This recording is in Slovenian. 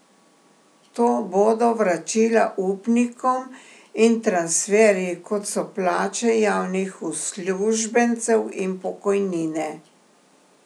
To bodo vračila upnikom in transferji, kot so plače javnih uslužbencev in pokojnine.